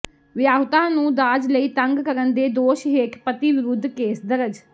ਵਿਆਹੁਤਾ ਨੂੰ ਦਾਜ ਲਈ ਤੰਗ ਕਰਨ ਦੇ ਦੋਸ਼ ਹੇਠ ਪਤੀ ਵਿਰੁੱਧ ਕੇਸ ਦਰਜ